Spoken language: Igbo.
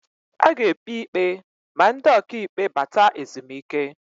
A ga-ekpi ikpe ma ndị ọka ikpe bata ezumike.